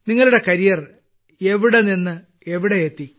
നിങ്ങളുടെ കരിയർ എവിടെ നിന്ന് എവിടെ എത്തി